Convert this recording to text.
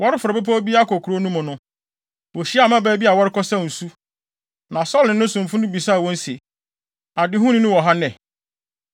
Wɔreforo bepɔw bi akɔ kurow no mu no, wohyiaa mmabaa bi a wɔrekɔsaw nsu, na Saulo ne ne somfo no bisaa wɔn se, “Adehuni no wɔ ha nnɛ?”